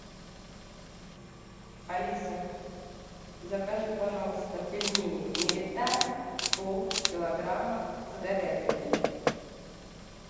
алиса закажи пожалуйста пельмени мириталь полкилограмма с говядиной